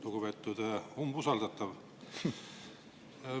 Lugupeetud umbusaldatav!